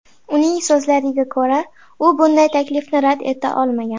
Uning so‘zlariga ko‘ra, u bunday taklifni rad eta olmagan.